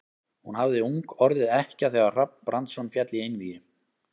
Hún hafði ung orðið ekkja þegar Hrafn Brandsson féll í einvígi.